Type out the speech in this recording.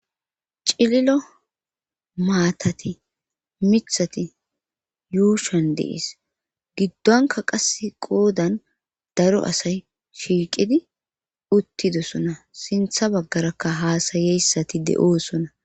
cililo maatati mithati yuushan deis giddonka qasse qoodan daro asay shiiqidi uttidosona sintha baggarakka haasayeyssati de7oosona